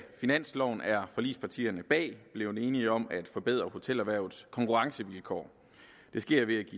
finansloven er forligspartierne bag blevet enige om at forbedre hotelerhvervets konkurrencevilkår det sker ved